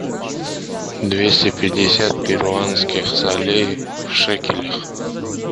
двести пятьдесят перуанских солей в шекелях